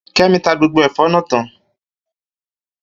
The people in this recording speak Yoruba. Kemi ta gbogbo ẹ̀fọ́ náà tán